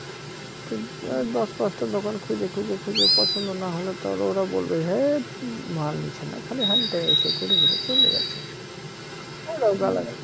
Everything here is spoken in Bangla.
তো এর দশ পাঁচটা দোকান খুইজে খুইজে খুইজে পছন্দ না হলে তো ওরা বলবে হেত উম মাল নিচ্ছে না খালি হাত দেয় এসে ঘুরেঘুরে চলে যাচ্ছে ওরাও গালাগাল